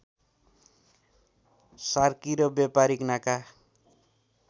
सार्की र व्यापारीक नाका